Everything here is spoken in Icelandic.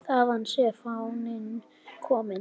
Þaðan sé fáninn kominn.